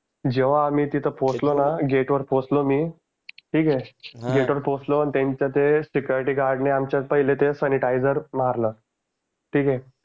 जेव्हा आम्ही तिथं पोहोचलो ना गेट वर पोहोचलो मी ठीक आहे गेट वर पोहोचलो आणि त्यांच्या ते सिकुरीटीगार्ड ने आमच्यात पहिलं ते सांनीटईसर मारलं. ठीक आहे.